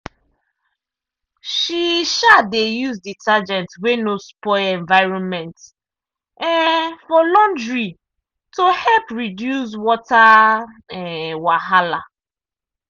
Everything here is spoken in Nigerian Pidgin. e um dey use detergent wey no spoil environment um for laundry to help reduce water um wahala.